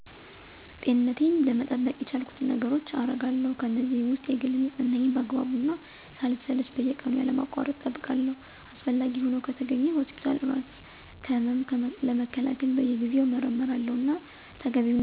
ጤንነቴን ለመጠበቅ የቻልኩትን ነገሮች አገርጋለሁ። ከእነዚህም ውስጥ የግል ንፅህናየን በአግባቡ እና ሳልሰለች በየቀኑ ያለማቋረጥ እጠብቃለሁ። አስፈላጊ ሆኖ ከተገኘ ሆስፒታል እራስ ከህመም ለመከላከል በየጊዜው እመረመራለሁ። እና ተገቢውን የአካል ብቃት እንቅስቃሴ በየጊዜው እሠራለሁ። ደህንነቴን ለመጠበቅ ደግሞ እራሴን ከተለያዩ ጥቃቶች ለመከላከል ንቁ እና የአካል ብቃት እሠለጥናለሁ። በጥቅሉ ለጤና ሆነ ለደንነት የሚሆን ብቁ የሆኑ እንቅስቃሴዎችን በደንብ አዘውትሬ እሰራለሁ።